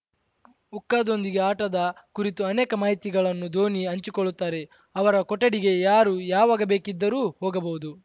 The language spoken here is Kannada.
ಹುಕ್ಕಾದೊಂದಿಗೆ ಆಟದ ಕುರಿತು ಅನೇಕ ಮಾಹಿತಿಗಳನ್ನು ಧೋನಿ ಹಂಚಿಕೊಳ್ಳುತ್ತಾರೆ ಅವರ ಕೊಠಡಿಗೆ ಯಾರು ಯಾವಾಗ ಬೇಕಿದ್ದರೂ ಹೋಗಬಹುದು